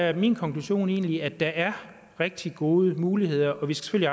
er min konklusion egentlig at der er rigtig gode muligheder og vi skal